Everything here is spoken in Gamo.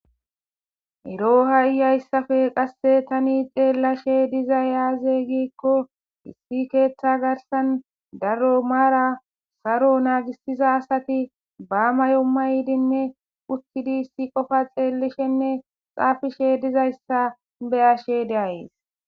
Eroha iyayssafe qasse tani xeellashe dizay aaze giikko hissi keeththa garsan daro maara saro naagisiza asati baamayo ma ydinne puchchidi issi qofa xeellishenne xaafishe dizayssa beyashe deays.